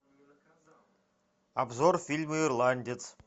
обзор фильма ирландец